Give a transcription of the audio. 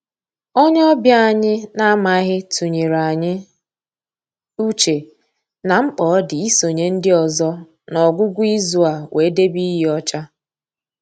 Onye ọbịa anyị na-amaghị tụnyere anyị uche na mkpa ọ dị isonye ndị ọzọ n'ọgwụgwụ izu a wee debe iyi ọcha